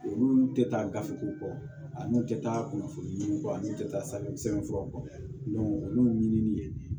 Olu tɛ taa gafew kɔ ani tɛ taa kunnafoniw kɔ ani tɛ taa safunɛ sɛbɛn furaw kɔ olu ɲinini